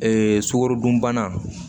Ee sukaro dunbana